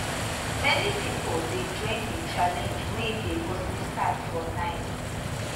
many pipo dey join di challenge wey dey mostly start for night